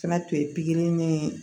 Fɛnɛ tun ye pikiri ni